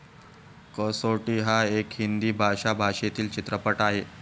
कसौटी हा एक हिंदी भाषा भाषेतील चित्रपट आहे.